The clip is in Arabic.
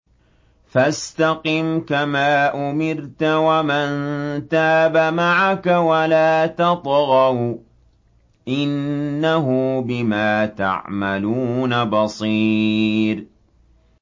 فَاسْتَقِمْ كَمَا أُمِرْتَ وَمَن تَابَ مَعَكَ وَلَا تَطْغَوْا ۚ إِنَّهُ بِمَا تَعْمَلُونَ بَصِيرٌ